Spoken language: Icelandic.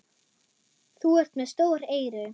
Þú ert með stór eyru.